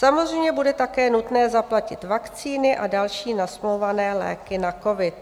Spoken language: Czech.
"Samozřejmě bude také nutné zaplatit vakcíny a další nasmlouvané léky na covid.